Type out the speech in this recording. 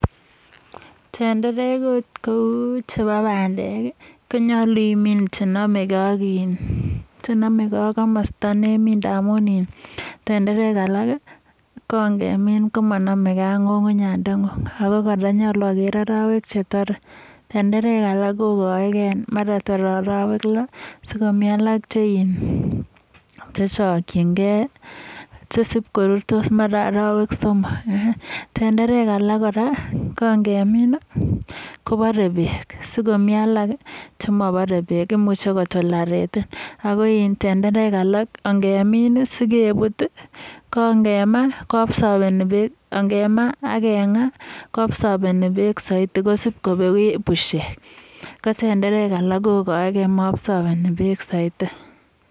ing minget ap pandek komakat imin ako komasta nemite pandek alak ngemin komanameke ako nyulunyandengung akekere arawek chetare alak kokaeke mara tare arawek lo mi alak chechakchinike akoruryo ing arawek somok komi chepare peek akomi chemapare peek akomi alak chengemin akekes kokonori peek ko sikopeku pushek ko alak koapsopine peek.